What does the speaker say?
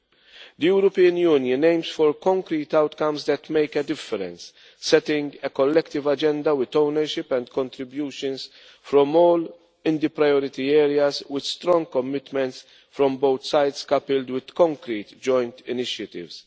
The European Union aims for concrete outcomes that make a difference, setting a collective agenda with ownership and contributions from all in the priority areas, with strong commitments from both sides coupled with concrete joint initiatives.